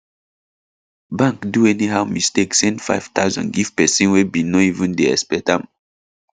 bank do anyhow mistake send 5000 give person wey bin no even dey expect am